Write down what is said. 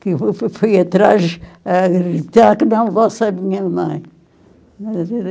Que eu fu fui atrás a gritar que não fosse a minha mãe.